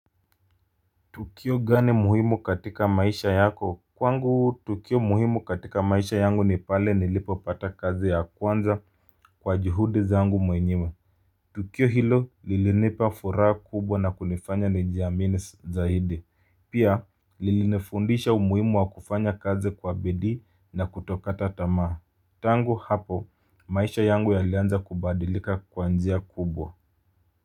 Tukio gani muhimu katika maisha yako? Kwangu tukio muhimu katika maisha yangu ni pale nilipopata kazi ya kwanza kwa juhudi zangu mwenyewe. Tukio hilo lilinipa furaha kubwa na kunifanya nijiami s zaidi. Pia lilinifundisha umuhimu wa kufanya kazi kwa bidii na kutokata tamaa. Tangu hapo, maisha yangu yalianza kubadilika kwa njia kubwa.